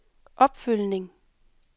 opfølgning